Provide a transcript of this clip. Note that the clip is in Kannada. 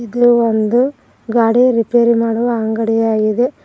ಇದು ಒಂದು ಗಾಡಿ ರಿಪೇರಿ ಮಾಡುವ ಅಂಗಡಿ ಆಗಿದೆ.